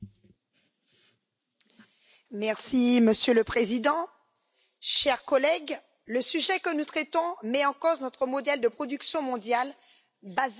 Madame la Présidente, chers collègues, le sujet que nous traitons met en cause notre modèle de production mondiale fondé uniquement sur l'économie.